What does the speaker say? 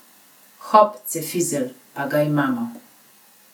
Hop, cefizelj, pa ga imamo!